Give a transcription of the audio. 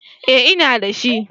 Eh, ina da shi.